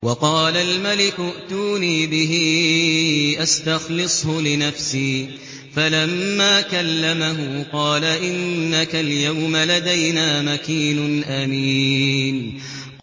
وَقَالَ الْمَلِكُ ائْتُونِي بِهِ أَسْتَخْلِصْهُ لِنَفْسِي ۖ فَلَمَّا كَلَّمَهُ قَالَ إِنَّكَ الْيَوْمَ لَدَيْنَا مَكِينٌ أَمِينٌ